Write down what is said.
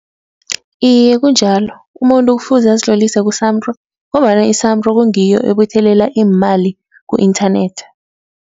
Iye kunjalo umuntu kufuze azitlolise ku-SAMRO ngombana i-SAMRO kungiyo ebuthelela iimali ku-internet.